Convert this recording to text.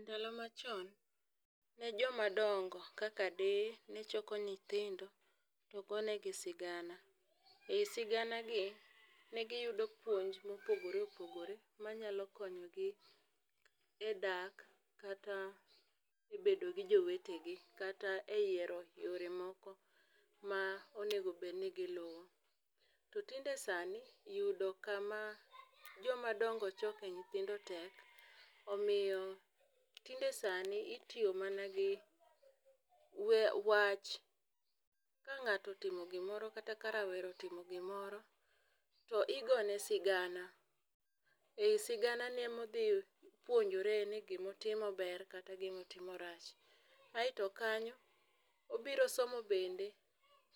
Ndalo machon ne joma dongo kaka deye ne choko nyithindo to gone gi sigana. E sigana gi ne giyudo puonj mopogore opogore manyalo konyogi e dak kata e bedo gi jowetegi kata e yiero yore moko ma onego bed ni giluwo. To tinde sani yudo kama joma dongo choke nyithindo tek omiyo tinde sani ityo mana gi wa wach . Ka ng'ato otimo gimoro kata ka rawera otimo gimoro to igone sigana e sigana no emodhi puonjore ni gimotimo ber kata gimotimo rach .Aeto kanyo obiro somo bende